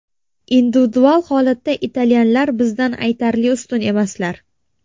Individual holatda italyanlar bizdan aytarli ustun emaslar.